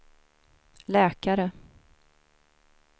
läkare